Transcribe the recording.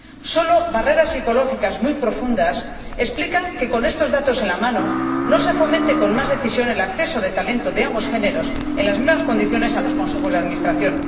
Solo barreras psicológicas muy profundas explican que con estos datos en la mano no se fomente con más decisión el acceso de talento de ambos sexos en las mismas condiciones a los consejos de administración.